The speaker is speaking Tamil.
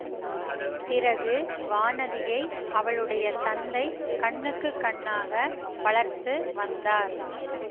பிறகு வானதியை அவளுடைய தந்தை கண்ணுக்கு கண்ணாக வளர்த்து வந்தார்